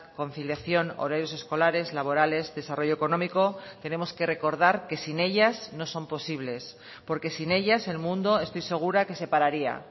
conciliación horarios escolares laborales desarrollo económico tenemos que recordar que sin ellas no son posibles porque sin ellas el mundo estoy segura que se pararía